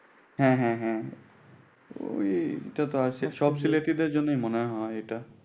হ্যাঁ হ্যাঁ হ্যাঁ ঐটা তো আসে সব সিলেটিদের জন্যই মনে হয়।